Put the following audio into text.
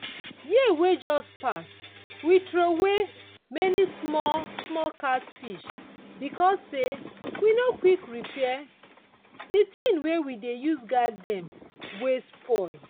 year wey just pass we throway many small small catfish because sey we no quick repair the thing wey we we use guide dem wey spoil.